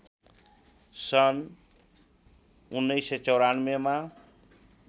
सन् १९९४मा